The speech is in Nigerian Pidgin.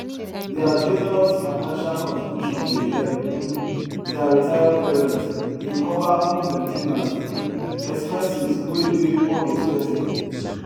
their generous financial contribution dey help um their retired parents dey cover home main ten ance um expenses wey dey unexpected